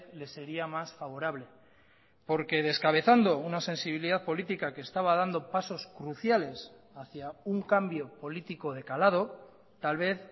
le sería más favorable porque descabezando una sensibilidad política que estaba dando pasos cruciales hacia un cambio político de calado tal vez